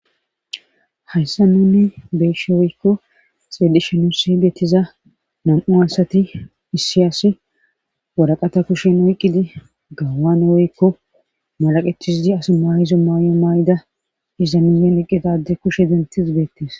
Hayssa nuni beeshe woykko xedishenusi getiza nam7u asati issi asi woraqata kushen oyqqidi gawane woykko malaqetizidi as maayizo maay7o maay7ida iza minnen eqqedade kushe dentiz bettees